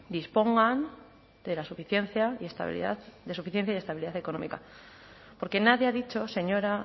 dispongan de la suficiencia y estabilidad de suficiencia y estabilidad económica porque nadie ha dicho señora